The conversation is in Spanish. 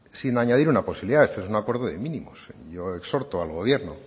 sin añadir una posibilidad este es un acuerdo de mínimos yo exhorto al gobierno